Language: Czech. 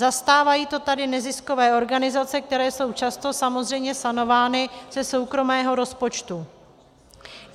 Zastávají to tady neziskové organizace, které jsou často samozřejmě sanovány ze soukromého rozpočtu.